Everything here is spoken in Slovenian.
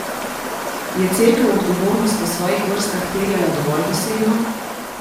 Je Cerkev odgovornost v svojih vrstah terjala dovolj dosledno?